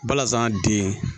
Balazan den